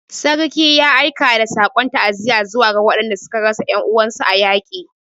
Sarki ya aika da sakon ta'aziyarsa zuwa ga waɗanda suka rasa 'yan uwansu a yaƙi